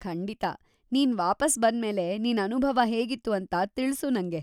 ಖಂಡಿತ, ನೀನ್‌ ವಾಪಸ್‌ ಬಂದ್ಮೇಲೆ ನಿನ್ ಅನುಭವ ಹೇಗಿತ್ತು ಅಂತ ತಿಳ್ಸು ನಂಗೆ.